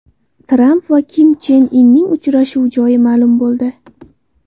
Tramp va Kim Chen Inning uchrashuvi joyi ma’lum bo‘ldi.